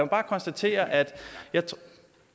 bare konstatere at